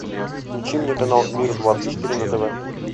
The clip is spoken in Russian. включи мне канал мир двадцать четыре на тв